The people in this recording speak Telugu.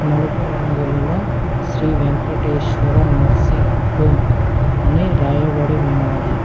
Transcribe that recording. నలుపు రంగులలో శ్రీ వెంకటేశ్వర నర్సింగ్ హోమ్ అని రాయబడి ఉన్నాది.